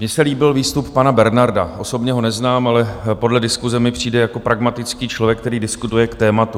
Mně se líbil výstup pana Bernarda, osobně ho neznám, ale podle diskuse mi přijde jako pragmatický člověk, který diskutuje k tématu.